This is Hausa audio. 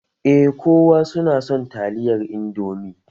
Eh kowa su na son taliyar indomi